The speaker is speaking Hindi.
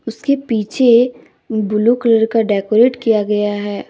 उसके पीछे ब्लू कलर का डेकोरेट किया गया है।